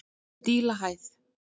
Dílahæð